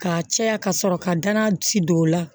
K'a caya ka sɔrɔ ka danna ci don o la